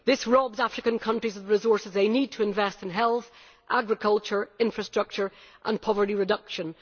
This robs African countries of the resources they need to invest in health, agriculture, infrastructure and poverty reduction.